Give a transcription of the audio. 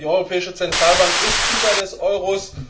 Die Europäische Zentralbank ist Hüter des Euro.